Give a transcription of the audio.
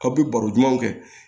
Kabi baro ɲumanw kɛ